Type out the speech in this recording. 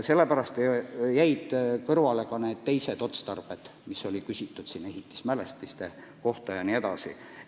Sellepärast jäid kõrvale need teised otstarbed, mille kohta siin on küsitud – talud ja muud ehitismälestised.